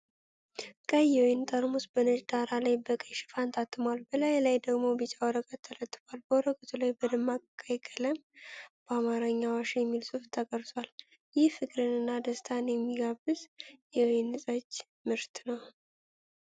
ቀይ የወይን ጠርሙስ በነጭ ዳራ ላይ በቀይ ሽፋን ታትሟል፣ በላዩ ላይ ደግሞ ቢጫ ወረቀት ተለጥፏል። በወረቀቱ ላይ በደማቅ ቀይ ቀለም በአማርኛ “አዋሽ” የሚል ጽሑፍ ተቀርጿል። ይህም ፍቅርን እና ደስታን የሚጋብዝ የወይን ጠጅ ምርት ነው።